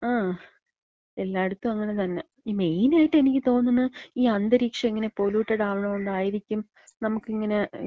ങാ, എല്ലായ്ടത്തും അങ്ങനെ തന്നെ. ഈ മെയിൻ ആയിട്ട് എനിക്ക് തോന്ന്ണത് ഈ അന്തരീക്ഷം ഇങ്ങനെ പൊലൂട്ടഡ് ആക്ണോണ്ടായിരിക്കും നമ്മക്ക് ഇങ്ങനെ വെള്ളം,